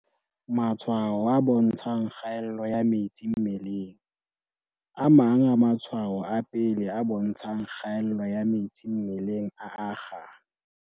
Matshwao a bontshang kgaello ya metsi mmelengA mang a matshwao a pele a bontshang kgaello ya metsi mmeleng a akga.